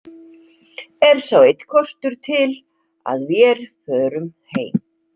Er sá einn kostur til að vér förum heim.